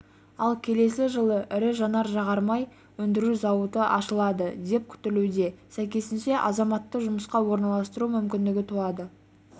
ал келесі жылы ірі жанар-жағармай өндіру зауыты ашылады деп күтілуде сәйкесінше азаматты жұмысқа орналастыру мүмкіндігі туады